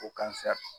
Ko